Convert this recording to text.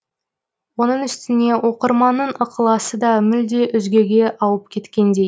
оның үстіне оқырманның ықыласы да мүлде өзгеге ауып кеткендей